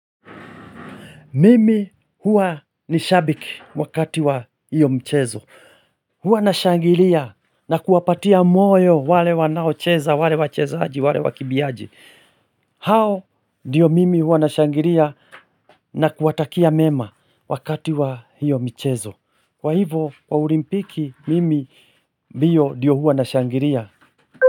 Mimi huwa ni shabiki wakati wa hiyo mchezo. Huwa na shangilia na kuwapatia moyo wale wanaocheza, wale wachezaji, wale wakimbiaji. Hao, ndiyo mimi huwa na shangilia na kuwatakia mema wakati wa hiyo michezo. Kwa hivo, kwa olimpiki, mimi ndiyo ndiyo huwa na shangiria.